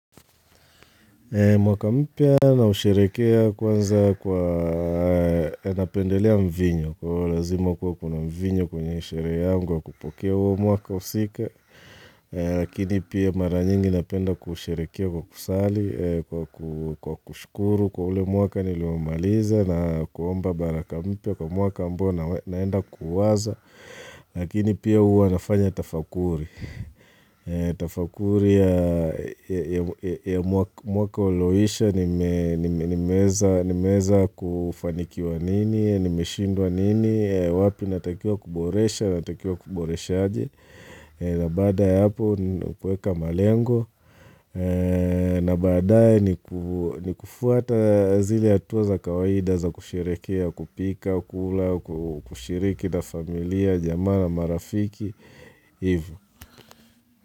Mwaka mpia nausherekea kwanza kwa napendelea mvinyo, kwa lazima kuwa kuna mvinyo kwenye shere yangu kwa kupokea uwo mwaka usika, lakini pia mara nyingi napenda kusherekea kwa kusali, kwa kushkuru kwa ule mwaka niluomaliza na kuomba baraka mpia kwa mwaka ambao naenda kuwaza, lakini pia uwa nafanya tafakuri. Tafakuri ya mwaka uloisha nimeza kufanikiwa nini, nimeshindwa nini, wapi natakia kuboresha, natakia kuboresha aje na bada ya hapo nakueka malengo na badae ni kufuata zile atuwa za kawaida za kusherekea, kupika, kula, kushiriki na familia, jamaa na marafiki Ivo.